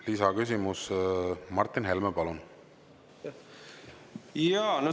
Lisaküsimus, Martin Helme, palun!